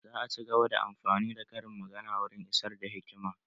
Za a cigaba da amfani da karin magana wurin isar da hikima